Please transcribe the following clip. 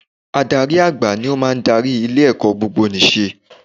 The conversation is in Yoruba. Adarí àgbà ni ó n darí ilé ẹ̀kọ́ gbogbonìṣe